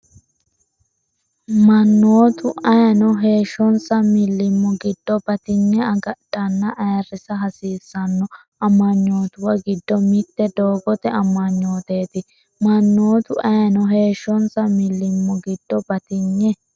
Mannotu ayeeno heeshshonsa millimmo giddo batinye agadhanna ayirrisa hasiissanno amanyootuwa giddo mitte doogote amanyooteeti Mannotu ayeeno heeshshonsa millimmo giddo batinye.